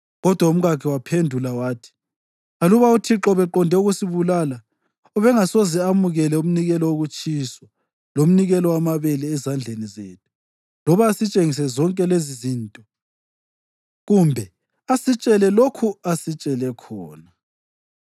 Kodwa umkakhe waphendula wathi, “Aluba uThixo ubeqonde ukusibulala, ubengasoze amukele umnikelo wokutshiswa lomnikelo wamabele ezandleni zethu, loba asitshengise zonke lezizinto kumbe asitshele lokhu asitshele khona.”